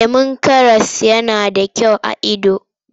Lemon karas yana da kyau ga ido.